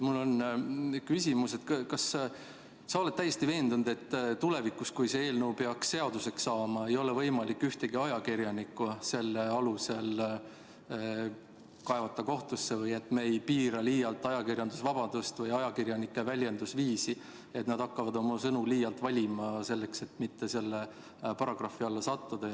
Mul on küsimus: kas sa oled täiesti veendunud, et tulevikus, kui see eelnõu peaks seaduseks saama, ei ole võimalik ühtegi ajakirjanikku selle alusel kohtusse kaevata või et me ei piira sellega ajakirjandusvabadust või ajakirjanike väljendusviisi, nii et nad hakkavad oma sõnu liialt valima, et mitte selle paragrahvi alla sattuda?